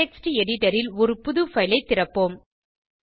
text editor ல் ஒரு புது பைல் ஐ திறப்போம்